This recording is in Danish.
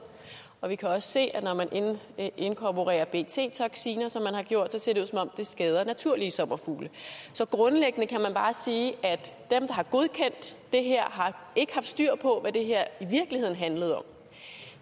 og vi kan også se at når man inkorporerer bt toksiner som man har gjort det ser det ud som om det skader naturlige sommerfugle så grundlæggende kan man bare sige at der har godkendt det her ikke har haft styr på hvad det her i virkeligheden handlede om